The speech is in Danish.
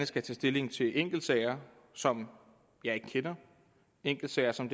skal tage stilling til enkeltsager som jeg ikke kender enkeltsager som